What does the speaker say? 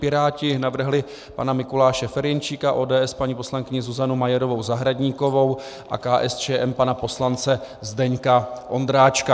Piráti navrhli pana Mikuláše Ferjenčíka, ODS paní poslankyni Zuzanu Majerovou Zahradníkovou a KSČM pana poslance Zdeňka Ondráčka.